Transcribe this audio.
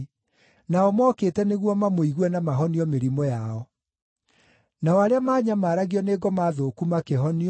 nao mookĩte nĩguo mamũigue na mahonio mĩrimũ yao. Nao arĩa maanyamaragio nĩ ngoma thũku makĩhonio,